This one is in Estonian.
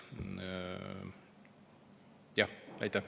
Aitäh!